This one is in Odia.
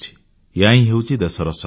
ଏହାହିଁ ହେଉଛି ଦେଶର ଶକ୍ତି